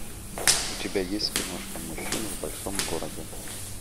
у тебя есть киношка мужчины в большом городе